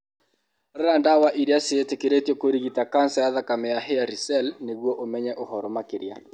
Rora ndawa iria ciĩtĩkĩrĩtio kũrigita kanca ya thakame ya hairy cell nĩguo ũmenye ũhoro makĩria.